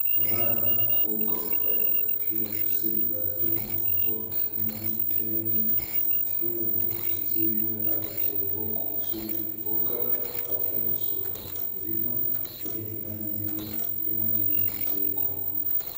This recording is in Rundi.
Umwana w'umukobwa yambaye agapira gafise ibara ry'umuhondo akenyeye n'igitenge, ateruye muntoke ziwe agatebo ,kuzuye imboga avuye gusoroma mumurima ,uri inyuma yiwe urimwo n'ibindi biterwa .